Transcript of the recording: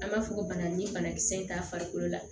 An b'a fɔ ko bana ni banakisɛ in t'a farikolo la